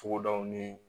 Togodaw ni